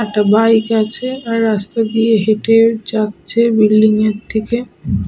একটা বাইক আছে। আর রাস্তা দিয়ে হেঁটে যাচ্ছে বিল্ডিং -এর দিকে।